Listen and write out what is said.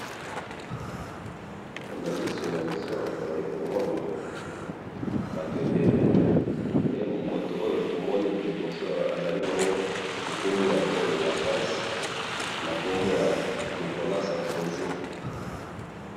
he na misu nabiso awa tozali komona batu ebele pe mutu oyo tomoni ya liboso ezali nkuma ya France kombo naye Nicolas SARKOZI .